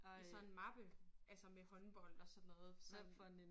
I sådan en mappe altså med håndbold og sådan noget som